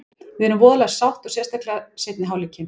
Við erum voðalega sátt og sérstaklega seinni hálfleikinn.